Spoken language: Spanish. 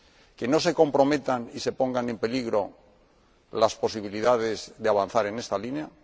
que no se comprometan y se pongan en peligro las posibilidades de avanzar en esa línea